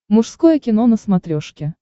мужское кино на смотрешке